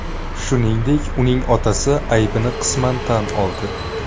Shuningdek, uning otasi aybini qisman tan oldi .